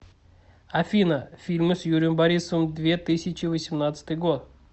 афина фильмы с юрием борисовым две тысячи восемнадцатый год